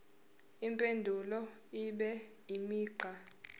impendulo ibe imigqa